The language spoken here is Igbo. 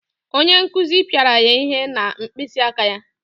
Onye nkuzi pịara ya ihe na mkpịsị aka ya.